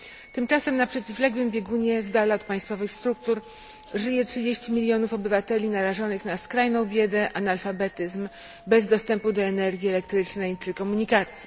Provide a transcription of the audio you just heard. Tymczasem na przeciwległym biegunie, z dala od państwowych struktur, żyje 30 milionów obywateli narażonych na skrajną biedę, analfabetyzm, bez dostępu do energii elektrycznej czy komunikacji.